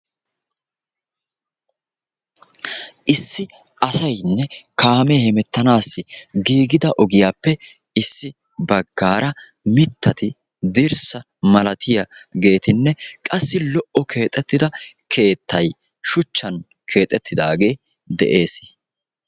issi asaynne kaamee hemettanaassi giigida ogiyappe issi baggaara mittati dirssa malatiyageetinne qassi lo'o keexettida keettay shuchchan keexettidaage de'es.